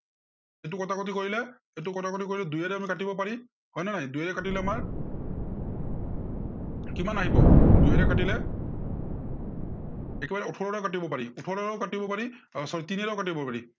এইটো কটাকটি কৰিলা। এইটো কটাকটি কৰিলা, দুইয়েৰে আমি কাটিম পাৰিম, হয়নে নাই দুইয়েৰে কাটিলে আমাৰ কিমান আহিব, দুইয়েৰে কাটিলে একেবাৰে ওঠৰে কাটিব পাৰি, ওঠৰেও কাটিব পাৰি, আহ sorry তিনিয়েৰেও কাটিব পাৰি।